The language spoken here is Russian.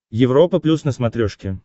европа плюс на смотрешке